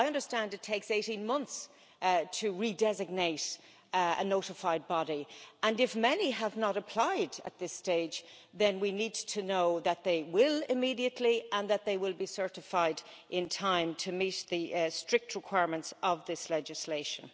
I understand it takes 18 months to re designate a notified body, and if many have not applied at this stage, then we need to know that they will immediately and that they will be certified in time to meet the strict requirements of this legislation.